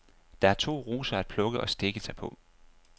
Der er to roser at plukke og stikke sig på.